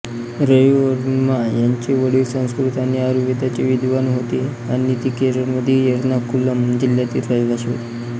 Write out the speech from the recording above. रविवर्मा यांचे वडील संस्कृत आणि आयुर्वेदाचे विद्वान होते आणि ते केरळमधील एर्नाकुलम जिल्ह्यातील रहिवासी होते